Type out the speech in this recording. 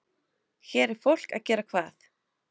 Hér er fólk að gera hvað?